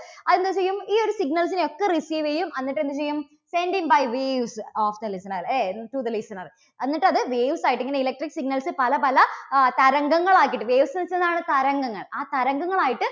അത് എന്ത് ചെയ്യും? ഈ ഒരു signals നെയൊക്കെ receive ചെയ്യും, എന്നിട്ട് എന്ത് ചെയ്യും? sending by waves of the listener ഏ to the listener എന്നിട്ട് അത് waves ആയിട്ട് ഇങ്ങനെ electric signals പല പല ആ തരംഗങ്ങൾ ആക്കിയിട്ട്, waves എന്ന് വെച്ചാൽ എന്താണ് തരംഗങ്ങൾ ആ തരംഗങ്ങൾ ആയിട്ട്